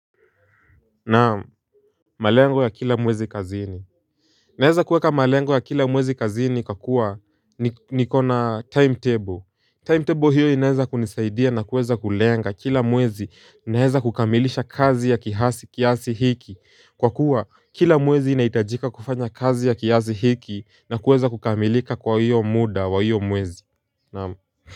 Naam malengo ya kila mwezi kazini. Naeza kueka malengo ya kila mwezi kazini kakua nikona timetable timetable hiyo inaeza kunisaidia na kuweza kulenga kila mwezi inaeza kukamilisha kazi ya kihasi kiasi hiki kwa kuwa kila mwezi inaitajika kufanya kazi ya kiazi hiki na kuweza kukamilika kwa hiyo muda wa hiyo mwezi naamu. Kwa hivyo.